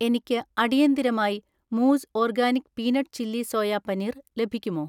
എനിക്ക് അടിയന്തിരമായി മൂസ് organic peanut chilli soya paneer ലഭിക്കുമോ?